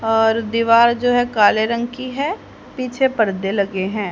और दीवार जो है काले रंग की है पीछे पर्दे लगे है।